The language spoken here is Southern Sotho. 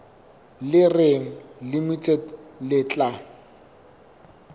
le reng limited le tla